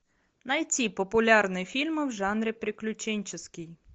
найти популярные фильмы в жанре приключенческий